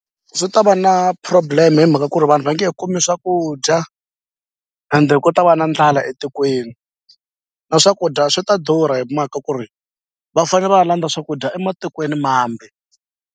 Swi ta va na problem hi mhaka ku ri vanhu va nge he kumi swakudya ende ku ta va na ndlala etikweni na swakudya swi ta durha hi mhaka ku ri va fane va landza swakudya ematikweni mambe.